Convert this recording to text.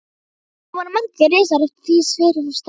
Þarna voru margir risar og eftir því sverir og sterkir.